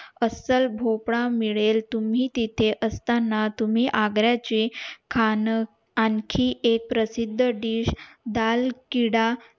अस्सल भोपळा मिळेल तुम्ही तेथे असताना तुम्ही आग्रा चे खान आणखी एक प्रसिद्द dish डाळ कीड